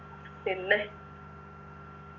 പിന്നെ